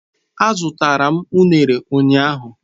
Azụtara m unere ụnyahụ.